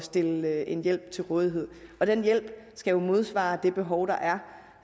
stille en hjælp til rådighed den hjælp skal jo modsvare det behov der er